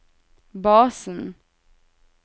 basen